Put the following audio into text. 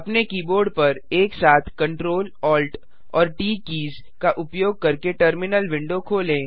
अपने कीबोर्ड पर एक साथ Ctrl Alt और ट कीज़ का उपयोग करके टर्मिनल विंडो खोलें